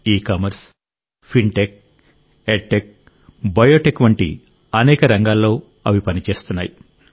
ecommerce fintech edtech biotech వంటి అనేక రంగాల్లో అవి పనిచేస్తున్నాయి